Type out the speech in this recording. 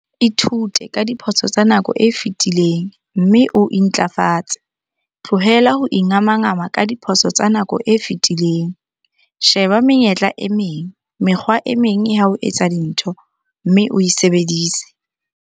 Ithute ka diphoso tsa nako e fetileng, mme o intlafatse. Tlohela ho ingamangama ka diphoso tsa nako e fetileng. Sheba menyetla e meng, mekgwa e meng ya ho etsa dintho, mme o e sebedise!